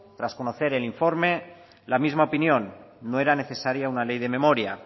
tras conocer el informe la misma opinión no era necesaria una ley de memoria